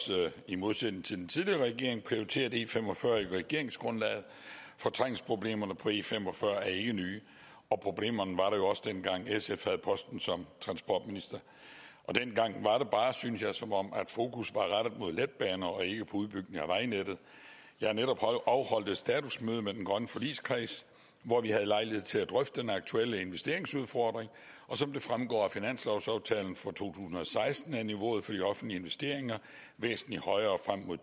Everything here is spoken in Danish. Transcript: i modsætning til tidligere regering prioriteret e45 i regeringsgrundlaget for trængselsproblemerne på e45 er ikke nye problemerne var der jo også dengang sf havde posten som transportminister og dengang var det bare synes jeg som om fokus var rettet mod letbaner og ikke mod udbygning af vejnettet jeg har netop afholdt et statusmøde med den grønne forligskreds hvor vi havde lejlighed til at drøfte den aktuelle investeringsudfordring som det fremgår af finanslovsaftalen for to tusind og seksten er niveauet for de offentlige investeringer væsentlig højere frem mod